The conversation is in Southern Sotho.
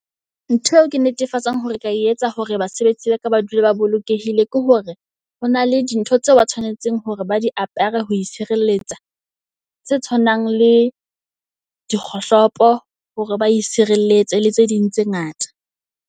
Ntho eo ke netefatsang hore ka etsa hore basebetsi ba ka ba dula ba bolokehile. Ke hore ho na le di ntho tseo ba tshwanetseng hore ba di apere ho itshireletsa. Tse tshwanang le dikgohlopo hore ba itshirelletse le tse ding tse ngata.